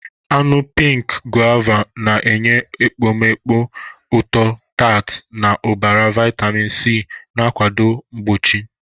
Anụ pink Guava na-enye ekpomeekpo ụtọ-tart na ụbara vitamin C, na-akwado mgbochi.